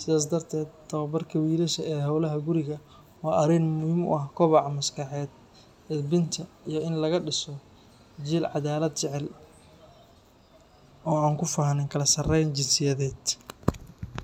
Sidaas darteed, tababarka wiilasha ee howlaha guriga waa arrin muhiim u ah koboca maskaxeed, edbinta, iyo in laga dhiso jiil caddaalad jecel oo aan ku faanin kala sarayn jinsiyadeed.